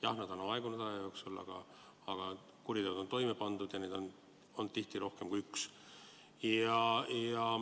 Jah, need on aja jooksul aegunud, aga kuriteod on toime pandud ja neid on tihti olnud rohkem kui üks.